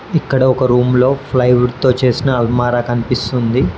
ఇక్కడ ఒక రూమ్ లో ఫ్లై వుడ్ తో చేసిన అల్మారా కనిపిస్తుంది.